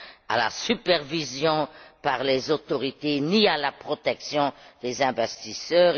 à la supervision par les autorités ni à la protection des investisseurs.